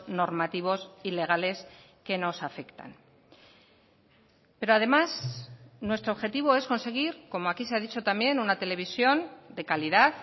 normativos y legales que nos afectan pero además nuestro objetivo es conseguir como aquí se ha dicho también una televisión de calidad